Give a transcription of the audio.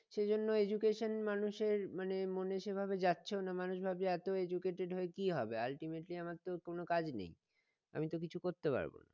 সেইজন্য education মানুষের মানে মনে সেভাবে যাচ্ছেও না মানুষ ভাবছে এত educated হয়ে কি হবে ultimately আমার তো কোনো কাজ নেই আমি তো কিছু করতে পারবো না